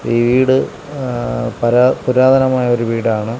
വീട് ആ പരാ പുരാതനമായ ഒരു വീടാണ്.